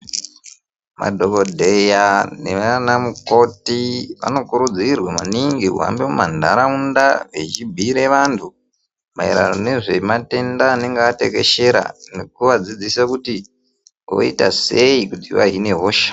Madhokodheya neanamukoti anokurudzirwa maningi kuhambe mumandaraunda eibhuire antu mairirano nezve matenda anenga atekeshera nekuadzidzisa kuti voita sei kuti vahine hosha.